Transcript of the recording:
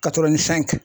Ka kɛ